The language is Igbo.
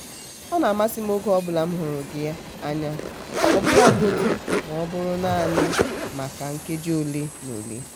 ọ na-amasị m oge ọbụla m hụrụ gị anya ọbụlagodi maọbụrụ naanị maka nkeji ole na ole.